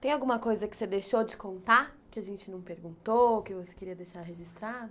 Tem alguma coisa que você deixou de contar, que a gente não perguntou, que você queria deixar registrado?